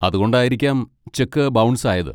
അതുകൊണ്ടായിരിക്കാം cheque bounce ആയത്.